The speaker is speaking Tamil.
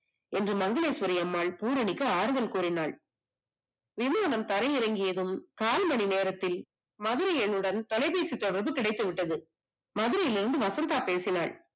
என்று மங்களேஸ்வரிஅம்மாள் பூரணிக்கு ஆறுதல் கூறினால். விமானம் தரை இறங்கியதும் கால்மணி நேரத்தில் மதுரை என்னுடன் தொலைபேசி கிடைத்து விட்டது. மதுரையில் இருந்து வசந்தா பேசினால்